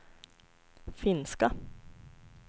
finska